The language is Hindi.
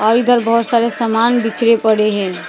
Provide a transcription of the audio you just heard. और इधर बहोत सारे सामान बिखरे पड़े है।